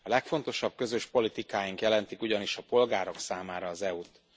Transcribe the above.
A legfontosabb közös politikáink jelentik ugyanis a polgárok számára az EU t.